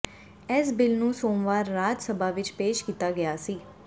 ਇਸ ਬਿੱਲ ਨੂੰ ਸੋਮਵਾਰ ਰਾਜ ਸਭਾ ਵਿਚ ਪੇਸ਼ ਕੀਤਾ ਗਿਆ ਸੀ